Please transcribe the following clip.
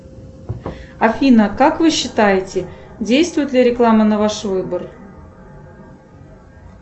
афина как вы считаете действует ли реклама на ваш выбор